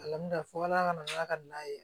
fo ala ka na n'a ka na ye